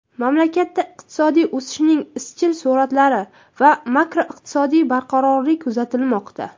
Mamlakatda iqtisodiy o‘sishning izchil sur’atlari va makroiqtisodiy barqarorlik kuzatilmoqda.